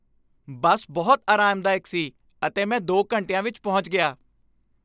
ਬੱਸ ਬਹੁਤ ਆਰਾਮਦਾਇਕ ਸੀ ਅਤੇ ਮੈਂ ਦੋ ਘੰਟਿਆਂ ਵਿੱਚ ਪਹੁੰਚ ਗਿਆ